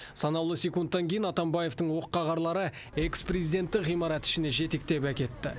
санаулы секундтан кейін атамбаевтың оққағарлары экс президентті ғимарат ішіне жетектеп әкетті